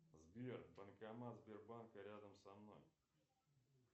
сбер банкомат сбербанка рядом со мной